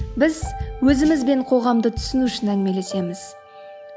біз өзіміз бен қоғамды түсіну үшін әңгімелесеміз